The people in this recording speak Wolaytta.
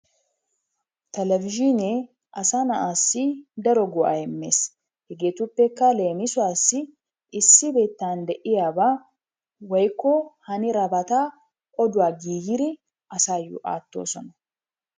Telebezhinee asa na'assi daro go'aa immees, hegeetuppekka leemissuwaassi issi biittan de'iyabaa woykko haniddabata oduwa giigiri asayo aattoosona.